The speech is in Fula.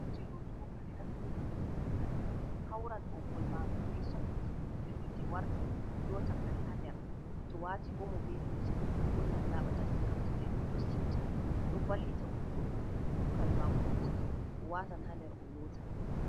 Kuje lootugo kare, naftira be hiite lantarki, hautan ɓoggol maaga be soket to hiite warti waata kare haa ner to waati Omo bee lumse fuuh lootan laaɓa tas ngam juuɗe goɗɗo siwta ɗon wallita goɗɗo to kare maako ɗuuɗi o watan haa ner o loota.